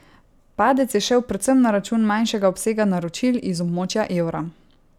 Padec je šel predvsem na račun manjšega obsega naročil iz območja evra.